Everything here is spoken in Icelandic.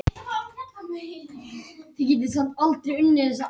Lúðvík, spilaðu lag.